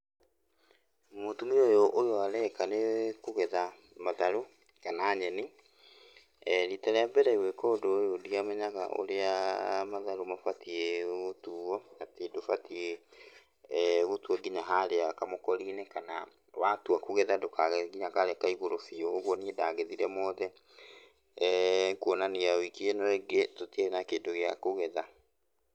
Mũtumia ũyũ, ũyũ areka nĩ kũgetha matharũ kana nyeni. Riita rĩa mbere gwĩka ũndũ ũyũ ndiamenya ũrĩa matharũ mabatiĩ gũtuo. Atĩ ndũbatiĩ gũtua nginya harĩa kamũkori-inĩ, kana watua kũgetha ndũkagethe nginya karĩa ka igũrũ biũ, ũguo niĩ ndagethire mothe, kwonania wiki ĩno ĩngĩ tũtiarĩ na kĩndũ gĩa kũgetha.